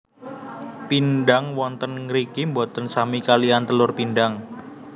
Pindang wonten ngriki boten sami kaliyan telur pindang